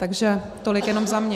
Takže tolik jenom za mě.